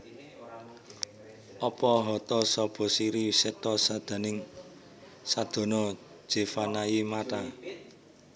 Apa hata sapa siri setha sadana jeevanaye Matha